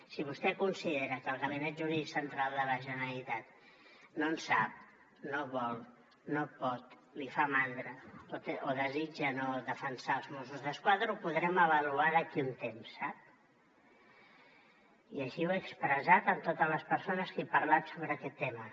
si vostè considera que el gabinet jurídic central de la generalitat no en sap no vol no pot li fa mandra o desitja no defensar els mossos d’esquadra ho podrem avaluar d’aquí a un temps sap i així ho he expressat amb totes les persones que he parlat sobre aquest tema